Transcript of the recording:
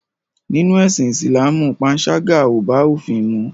Nínú ẹ̀sìn Ìsìlámù panṣágà ò bá òfin mu.